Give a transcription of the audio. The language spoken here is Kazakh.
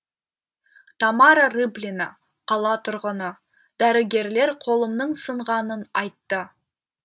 тамара рыплина қала тұрғыны дәрігерлер қолымның сынғанын айтты